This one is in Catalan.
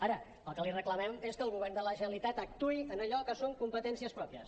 ara el que li reclamem és que el govern de la generalitat actuï en allò que són competències pròpies